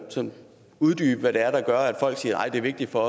uddybe hvad det er der at folk siger at det er vigtigt for